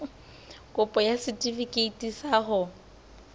kopo ya setefikeiti sa ho